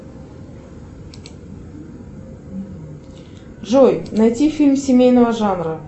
джой найти фильм семейного жанра